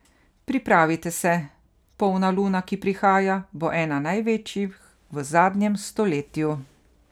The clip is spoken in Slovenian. Pripravite se, polna luna, ki prihaja, bo ena največjih v zadnjem stoletju.